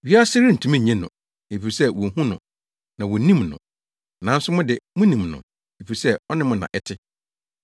Wiase rentumi nnye no, efisɛ wonhu no, na wonnim no. Nanso mo de, munim no, efisɛ ɔne mo na ɛte.